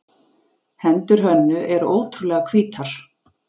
Hendur Hönnu eru ótrúlega hvítar.